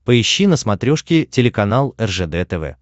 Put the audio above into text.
поищи на смотрешке телеканал ржд тв